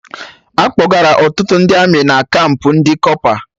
Akpọgara Ọtụtụ ndị Amị na kampụ ndị kọpa